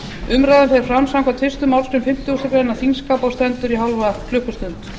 umræðan fer fram samkvæmt fyrstu málsgrein fimmtugustu grein þingskapa og stendur í hálfa klukkustund